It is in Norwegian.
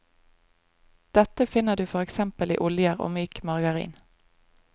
Dette finner du for eksempel i oljer og myk margarin.